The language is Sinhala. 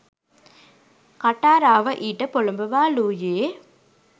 කටාරාව ඊට පොළඹවාලූයේ